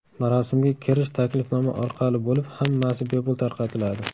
Marosimga kirish taklifnoma orqali bo‘lib, hammasi bepul tarqatiladi.